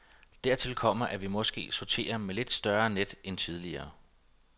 Dertil kommer, at vi måske sorterer med lidt større net end tidligere.